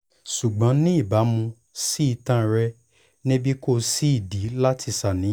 ṣugbọn ni ibamu si itan rẹ nibi ko si idi lati ṣàníyàn